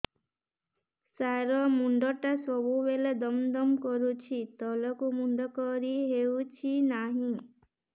ସାର ମୁଣ୍ଡ ଟା ସବୁ ବେଳେ ଦମ ଦମ କରୁଛି ତଳକୁ ମୁଣ୍ଡ କରି ହେଉଛି ନାହିଁ